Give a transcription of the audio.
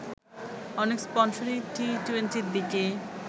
অনেক স্পন্সরই টি-টোয়েন্টির দিকে